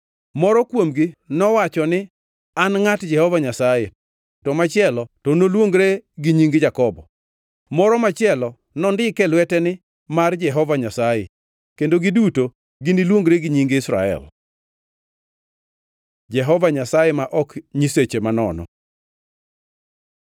Moro kuomgi nowacho ni, ‘An ngʼat Jehova Nyasaye.’ To machielo to noluongre gi nying Jakobo. Moro machielo nondik e lwete ni, ‘Mar Jehova Nyasaye,’ kendo giduto giniluongre gi nying Israel. Jehova Nyasaye ma ok nyiseche manono